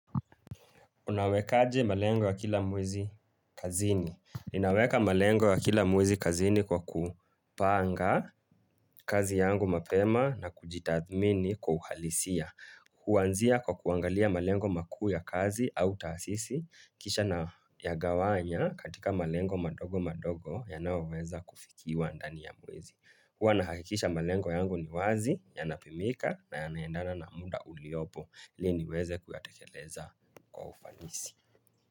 Unawekaje malengo ya kila mwezi kazini. Ninaweka malengo ya kila mwezi kazini kwa kupanga kazi yangu mapema na kujitathmini kwa uhalisia. Huanzia kwa kuangalia malengo makuu ya kazi au taasisi. Kisha na yagawanya katika malengo madogo madogo yanayoweza kufikiwa ndani ya mwezi. Kuwa nahakikisha malengo yangu ni wazi, yanapimika na yanaendana na muda uliopo ili niweze kuyatekeleza kwa ufanisi.